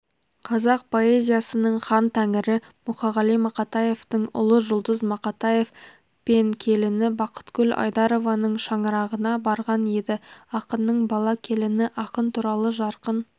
қазақ поэзиясының хан тәңірі мұқағали мақатаевтың ұлы жұлдыз мақатаев пен келіні бақытгүл айдарованың шаңырағына барған еді ақынның бала-келіні ақын туралы жарқын